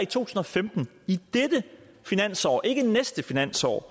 tusind og femten i dette finansår ikke i næste finansår